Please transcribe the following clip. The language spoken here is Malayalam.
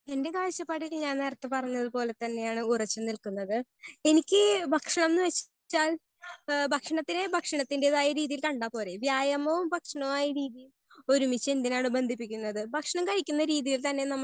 സ്പീക്കർ 1 എന്റെ കാഴ്ചപ്പാടിൽ ഞാൻ നേരെത്തെ പറഞ്ഞതിൽ തന്നെ ആണ് ഉറച്ച് നിക്കുന്നത്. എനിക്ക് ഭക്ഷണം എന്ന് വെച്ചാൽ ഹേ ഭക്ഷണത്തിലെ ഭക്ഷണത്തിന്റെതായ രീതിയിൽ കണ്ടാൽ പോരെ വ്യായാമവും ഭക്ഷണവുമായ രീതിയിൽ ഒരുമിച്ച് എന്തിനാണ് ബന്ധിപ്പിക്കുന്നത്. ഭക്ഷണം കഴിക്കുന്ന രീതിയിൽ തന്നെ നമ്മൾ